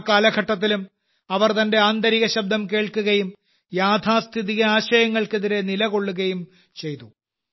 ആ കാലഘട്ടത്തിലും അവർ തന്റെ ആന്തരിക ശബ്ദം കേൾക്കുകയും യാഥാസ്ഥിതിക ആശയങ്ങൾക്കെതിരെ നിലകൊള്ളുകയും ചെയ്തു